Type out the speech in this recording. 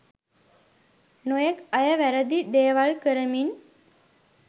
නොයෙක් අය වැරැදි දේවල් කරමින්